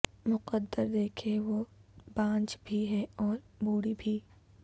مقدر دیکھے وہ بانجھ بھی ہے اور بوڑھی بھی